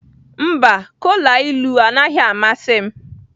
Mba, kola ilu anaghị amasị m.